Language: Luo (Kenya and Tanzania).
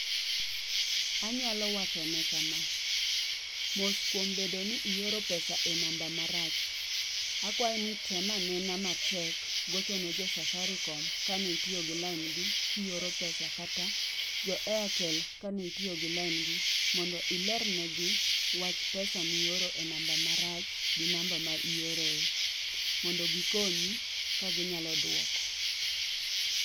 Anyalo wachone kama. Mos kuom bedo ni ioro pesa e namba marach. Akwaye ni tem anena matek gocho ne jo Safaricom ka ne itiyo gi lain gi kioro pesa kata jo Airtel kane itiyo gi lain gi mondo ilernegi wach pesa mioro e namba marach gi namba ma ioroe mondo gikonyi ka ginyalo duoko.